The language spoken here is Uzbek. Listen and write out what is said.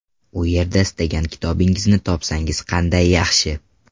U yerda istagan kitobingizni topsangiz qanday yaxshi.